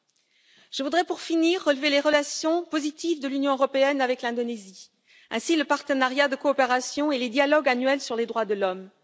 Pour finir, je voudrais relever les relations positives de l'Union européenne avec l'Indonésie, à savoir le partenariat de coopération et les dialogues annuels sur les droits de l'homme.